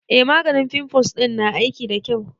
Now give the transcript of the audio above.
E, maganin fimfuls ɗin na aiki da kyau.